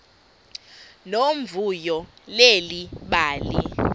nomvuyo leli bali